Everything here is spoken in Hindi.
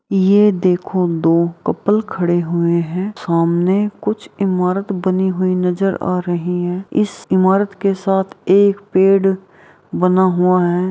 ये देखो दो कपल खड़े हुए हैं सामने कुछ इमारत बनी हुई नजर आ रही है इस इमारत के साथ एक पेड़ बना हुआ है।